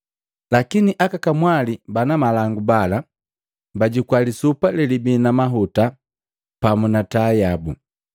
Lakini aka kamwali bana malangu bala bajukua lisupa lelibii na mahuta pamu na taa yabu.